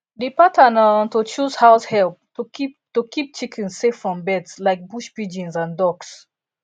the pattern um to close house help to keep to keep chickens safe from birds like bush pigeons and ducks